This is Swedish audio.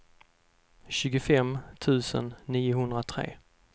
tjugofem tusen niohundratre